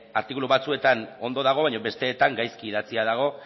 artikulu batzuetan ondo dago baina besteetan gaizki idatzia dago